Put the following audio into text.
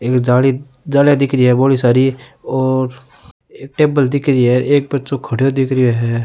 एक जाली जालियां दिख रही है बोली सारी और टेबल दिख री हैं एक बच्चो खड़ो दिख रो है।